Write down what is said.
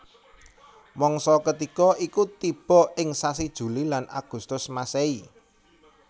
Mangsa katiga iku tiba ing sasi Juli lan Agustus Masehi